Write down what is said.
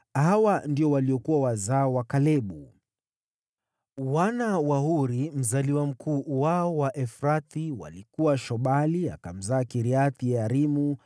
Hawa ndio waliokuwa wazao wa Kalebu. Wana wa Huri, mzaliwa mkuu wao wa Efrathi, walikuwa: Shobali akamzaa Kiriath-Yearimu,